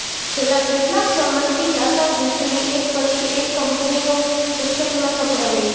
છેલ્લાં કેટલાંક સમયથી તાતા જૂથની એક પછી એક કંપનીઓ મુશ્કેલીમાં સપડાઈ રહી છે